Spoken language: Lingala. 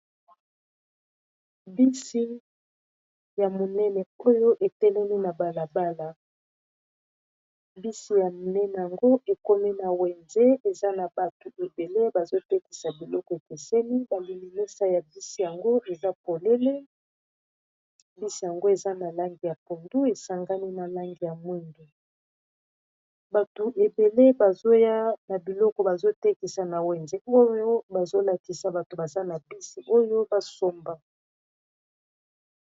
Bisi ya monene oyo etelemi na balabala bisi ya minene yango ekomi na wenze eza na batu ebele bazotekisa biloko ekeseni bamilimisa ya bisi yango eza polele bisi yango eza na langi ya pondu esangani na langi ya mwindu batu ebele bazoya na biloko bazotekisa na wenze oyo bazolakisa bato baza na bisi oyo basomba.